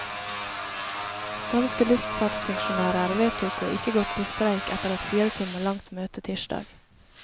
Danske luftfartsfunksjonærer vedtok å ikke gå til streik etter et fire timer langt møte tirsdag.